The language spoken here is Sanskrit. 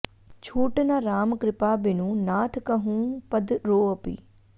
छूट न राम कृपा बिनु नाथ कहउँ पद रोऽपि